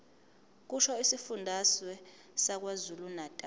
kusho isifundazwe sakwazulunatali